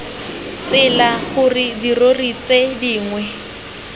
tsela gore dirori tse dingwe